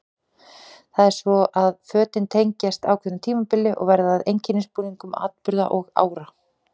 Það er svo að fötin tengjast ákveðnu tímabili og verða að einkennisbúningum atburða og ára.